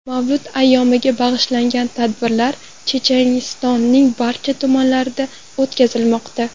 Mavlud ayyomiga bag‘ishlangan tadbirlar Chechenistonning barcha tumanlarida o‘tkazilmoqda.